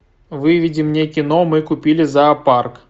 выведи мне кино мы купили зоопарк